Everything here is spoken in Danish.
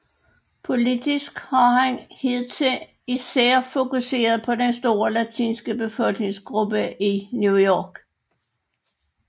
Politisk har han hidtil især fokuseret på den store latinske befolkningsgruppe i New York